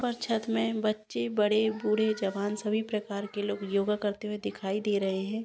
ऊपर छत में बच्चे बड़े बूढ़े जवान सभी प्रकार के लोग योगा करते हुए दिखाई दे रहे है।